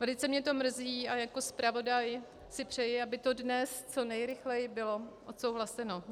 Velice mě to mrzí a jako zpravodaj si přeji, aby to dnes co nejrychleji bylo odsouhlaseno.